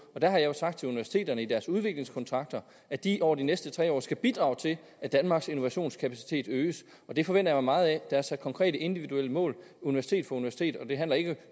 der har jeg sagt til universiteterne i deres udviklingskontrakter at de over de næste tre år skal bidrage til at danmarks innovationskapacitet øges og det forventer meget af der er sat konkrete individuelle mål universitet for universitet og det handler ikke